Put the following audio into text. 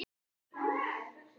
Hér er allt tómt